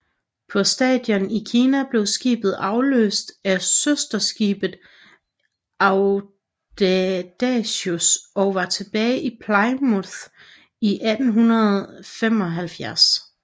På stationen i Kina blev skibet afløst af søsterskibet Audacious og var tilbage i Plymouth i maj 1875